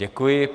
Děkuji.